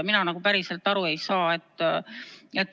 Mina päriselt ei saa aru.